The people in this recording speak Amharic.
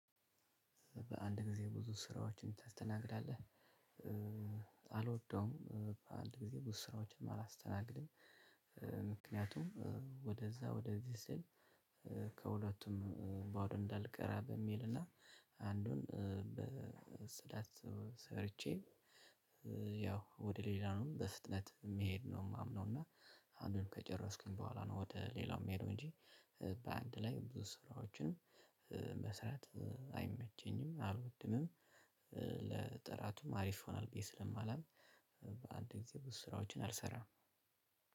በአንድ ጊዜ ብዙ ስራዎችን ታስተናግዳለህ? አልወደውም በአንድ ጊዜ ብዙ ስራዎችን አላስተናግድም ምክንያቱም ወደዛ ወደዚህ ስል ከሁለቱም ባዶ እንዳልቀር በሚልና አንዱን በስዳት ሰርቼ ያው ወደ ሌላው በፍጥነት መሄድ ነው። ማምነው እና አንዱን ከጨረስኩኝ በኋላ ነው ወደ ሌላው የምሄደው እንጂ በአንድ ላይ ብዙ ስራዎችን መስራት አይመቸኝም አልወድምም ለጥራቱም አሪፍ ይሆናል ብዬ ስለማላምን በአንድ ጊዜ ብዙ ስራዎችን አልሰራም።